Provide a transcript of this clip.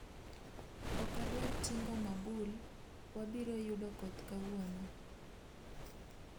Ok adwar tingo mabul wabiro yudo koth kawuono